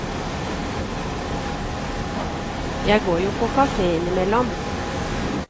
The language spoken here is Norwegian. Jeg går jo på kafé innimellom.